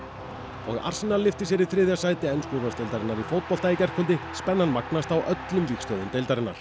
og lyfti sér í þriðja sæti ensku úrvalsdeildarinnar í fótbolta í gærkvöldi spennan magnast á öllum vígstöðvum deildarinnar